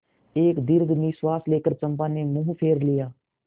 एक दीर्घ निश्वास लेकर चंपा ने मुँह फेर लिया